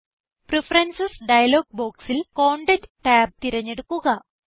preferences dialog ബോക്സിൽ content tab തിരഞ്ഞെടുക്കുക